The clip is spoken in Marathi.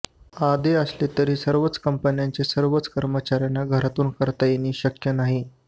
अदे असले तरीही सर्वच कंपन्यांच्या सर्वच कर्मचाऱ्याना घरातून करता येणे शक्य नाही